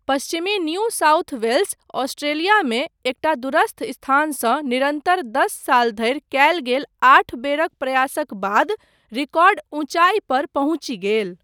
पश्चिमी New South Wales, ऑस्ट्रेलियामे एकटा दूरस्थ स्थानसँ निरन्तर दस साल धरि कयल गेल आठ बेरक प्रयासक बाद, रिकॉर्ड ऊञ्चाई पर पहुँचि गेल।